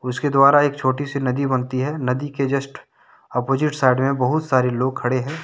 उसके द्वारा एक छोटी सी नदी बनती है नदी के जस्ट ऑपोजिट साइड में बहुत सारे लोग खड़े हैं।